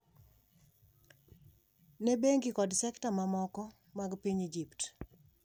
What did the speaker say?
ne bengi kod sekta mamoko mag piny Egypt.